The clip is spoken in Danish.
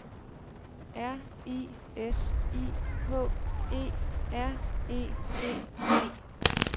R I S I K E R E D E